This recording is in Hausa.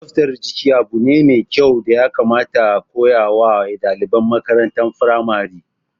Tsaftar jiki abu ne mai kyau da ya kamata a koya wa ɗaliban makarantar firamare